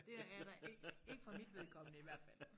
det er der ikke ikke for mit vedkommende i hvert fald